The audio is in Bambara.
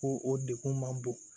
Ko o degun man bon